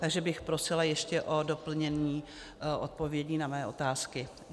Takže bych prosila ještě o doplnění odpovědí na své otázky.